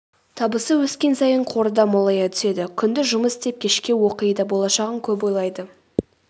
табысы өскен сайын қоры да молая түседі күндіз жұмыс істеп кешке оқиды болашағын көп ойлайды